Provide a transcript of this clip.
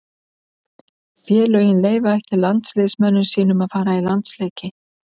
Félögin leyfa ekki landsliðsmönnum sínum að fara í landsleiki.